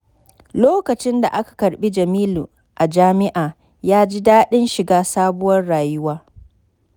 Lokacin da aka karɓi Jamilu a jami’a, ya ji daɗin shiga sabuwar rayuwa.